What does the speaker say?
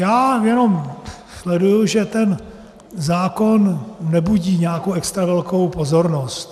Já jenom sleduji, že ten zákon nebudí nějakou extra velkou pozornost.